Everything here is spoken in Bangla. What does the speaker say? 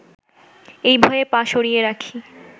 এই ভয়ে পা সরিয়ে রাখি